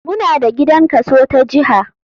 Muna da gidan kaso ta jiha.